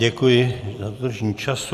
Děkuji za dodržení času.